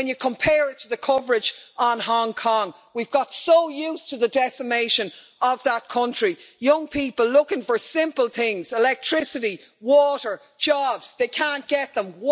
When you compare it to the coverage on Hong Kong we've got so used to the decimation of that country. Young people looking for simple things electricity, water, jobs they can't get them.